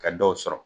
Ka dɔw sɔrɔ